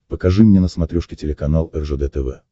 покажи мне на смотрешке телеканал ржд тв